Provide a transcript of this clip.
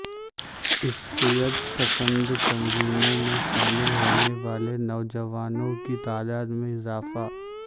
عسکریت پسند تنظیموں میں شامل ہونے والے نوجوانوں کی تعداد میں اضافہ